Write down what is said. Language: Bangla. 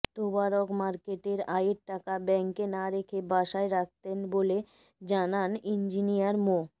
তোবারক মার্কেটের আয়ের টাকা ব্যাংকে না রেখে বাসায় রাখতেন বলেও জানান ইঞ্জিনিয়ার মো